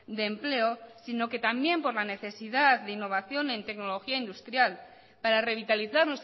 de empleo sino que también por la necesidad de innovación en tecnología industrial para revitalizar